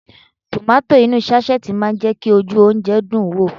Tomato inú sáṣẹ́ẹ̀tì máa ń jẹ́ kí ojú oúnjẹ dùn ún wò